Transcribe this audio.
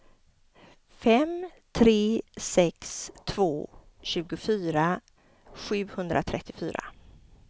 fem tre sex två tjugofyra sjuhundratrettiofyra